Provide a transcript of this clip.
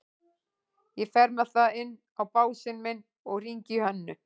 Ég fer með það inn á básinn minn og hringi í Hönnu.